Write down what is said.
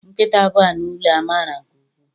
Nkịta bụ anụ ụlọ a mara nke ukwuu